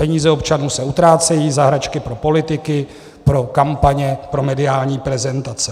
Peníze občanů se utrácejí za hračky pro politiky, pro kampaně, pro mediální prezentace.